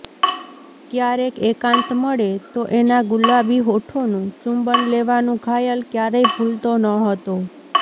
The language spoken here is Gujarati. ક્યારેક એકાંત મળે તો એના ગુલાબી હોઠોનું ચુંબન લેવાનું ઘાયલ ક્યારેય ભૂલતો ન હતો